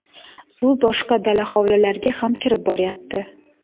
Suv boshqa dala hovlilarga ham kirib boryapti”.